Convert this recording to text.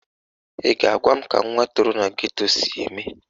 Ị ga-agwa m ka nwa toro na geto si eme?